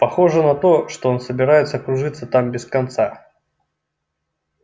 похоже на то что он собирается кружиться там без конца